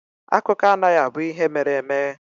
Akụkọ anaghị abụ ihe mere eme.